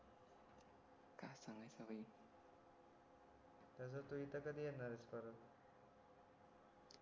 त्याचा तू इथे कधी येणार आहेस परत